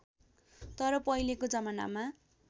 तर पहिलेको जमानामा